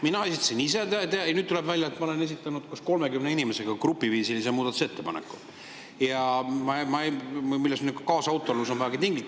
Mina esitasin need ise, aga nüüd tuleb välja, et ma olen esitanud 30 inimesega grupiviisilise muudatusettepaneku, milles minu kaasautorlus on vägagi tinglik.